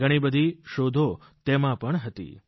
ઘણી બધી શોધો તેમાં હતી